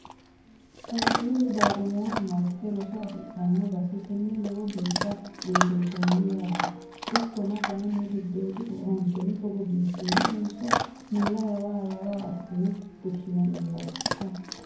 Qaaqqulu daimotu marte roso affidhano base tene lowo geeshsha biifinsonni yaate ikkona kayinni giddodi owaanteno togo biifinotenso mulla yawa yawa assine fushinaniwatikka.